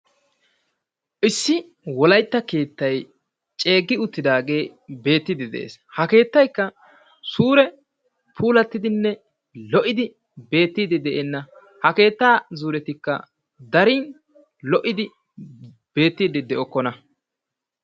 Issi wolaytta keettay ceeggi uttidaage beettiidi de'ees. Ha keettaykka suure puulattidinne lo"idi beettiidde de'enna. Ha keetta zuuretikka darin lo"idi beettiidde de"okkona.